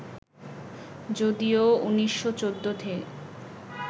যদিও ১৯১৪ তে